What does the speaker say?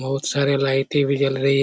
बहुत सारे लाइटे भी जल रही है।